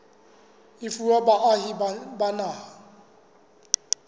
e fuwa baahi ba naha